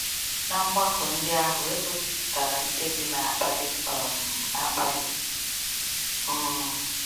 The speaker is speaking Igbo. Na mgbakọ ndị ahụ, e gosipụtara mkpebi na-akpali um akpali. um